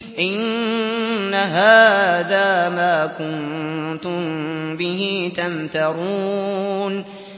إِنَّ هَٰذَا مَا كُنتُم بِهِ تَمْتَرُونَ